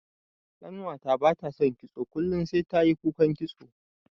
Ƙanwata bata son kitso kullun sai tayi kukan kitso.